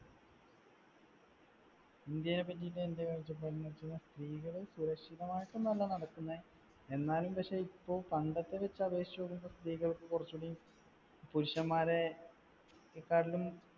ഇന്ത്യനെ പറ്റിയിട്ട് എന്റെ കാഴ്ചപ്പാടെന്നു വെച്ചാൽ സ്ത്രീകൾ സുരക്ഷിതമായിട്ടൊന്നുമല്ല നടക്കുന്നെ. എന്നാലും പക്ഷെ ഇപ്പൊ പണ്ടത്തെ വെച്ചു അപേക്ഷിച്ച് നോക്കുമ്പോൾ സ്ത്രീകൾക്ക് കുറച്ചുകൂടി പുരുഷന്മാരെകാട്ടിലും